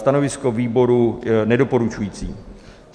Stanovisko výboru: nedoporučující.